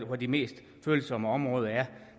hvor de mest følsomme områder er